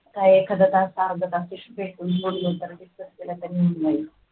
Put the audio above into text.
काय एखाद्या तास discuss केल तर होऊन जाईल.